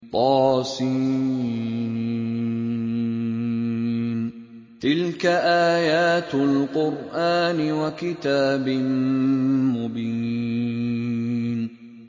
طس ۚ تِلْكَ آيَاتُ الْقُرْآنِ وَكِتَابٍ مُّبِينٍ